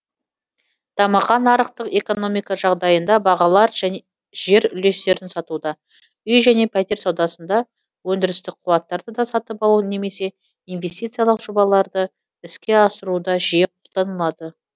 дамыған нарықтық экономика жағдайында бағалар жер үлестерін сатуда үй және пәтер саудасында өндірістік қуаттарды сатып алу немесе инвестициялық жобаларды іске асыруда жиі қолданылады